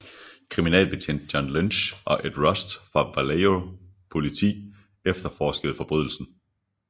Kriminalbetjent John Lynch og Ed Rust fra Vallejo politi efterforskede forbrydelsen